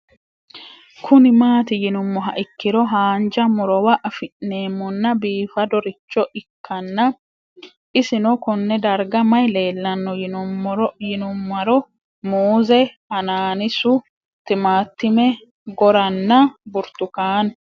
Kuni mati yinumoha ikiro hanja murowa afine'mona bifadoricho ikana isino Kone darga mayi leelanno yinumaro muuze hanannisu timantime gooranna buurtukaane